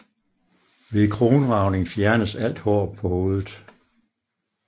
Ved kronragning fjernes alt hår på hovedet